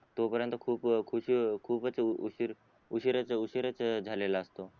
तो पर्यंत खूप खूप खूपच उशीर उशीरच उशीरच झालेला असतो